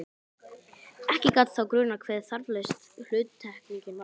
Ekki gat þá grunað hve þarflaus hluttekningin var!